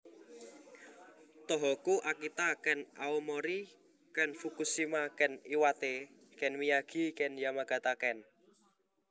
Tohoku Akita ken Aomori ken Fukushima ken Iwate ken Miyagi ken Yamagata ken